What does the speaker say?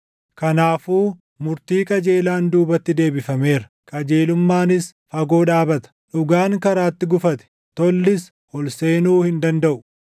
Kanaafuu murtii qajeelaan duubatti deebifameera; qajeelummaanis fagoo dhaabata; dhugaan karaatti gufate; tollis ol seenuu hin dandaʼu.